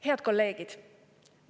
" Head kolleegid!